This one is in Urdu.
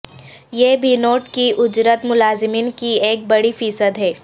یہ بھی نوٹ کی اجرت ملازمین کی ایک بڑی فی صد ہے